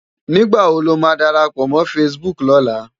Nigbá wó ló má dárápò mò fãsibúk lòlá?